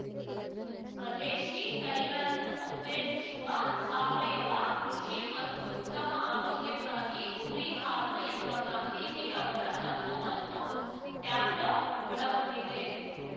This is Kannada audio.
ಸ್ವದೇಶಿ ತಳಿಗಳನ್ನು ಉತ್ತೇಜಿಸುವ ಸಾವಯವ ಕೃಷಿ ಮತ್ತು ಉತ್ತಮ ಆರೋಗ್ಯಕ್ಕಾಗಿ ಕುರಿ ಹಾಲು ಎಂಬ ಗಾಂಧೀಜಿ ಅವರ ತತ್ವವನ್ನು ಟ್ಯಾಬ್ಲೋ ಒಳಗೊಂಡಿದೆ